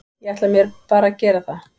Ég ætla mér bara að gera það.